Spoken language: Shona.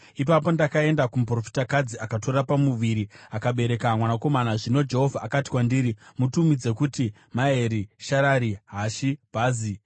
Ipapo ndakaenda kumuprofitakadzi, akatora pamuviri akabereka mwanakomana. Zvino Jehovha akati kwandiri, “Mutumidze kuti Maheri-Sharari-Hashi-Bhazi;